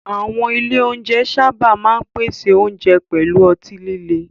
Àwọn ilé oúnjẹ sábà máa ń pèsè oúnjẹ pẹ̀lú ọtí líle.